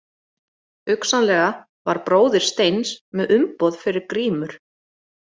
Hugsanlega var bróðir Steins með umboð fyrir grímur.